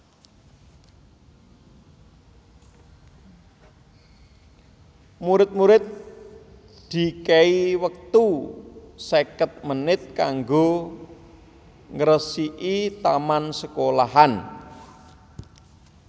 Murid murid dikei wektu seket menit kanggo ngresiki taman sekolahan